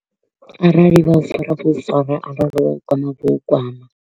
Arali vha u fara vho u fara, arali vha u kwama vho u kwama.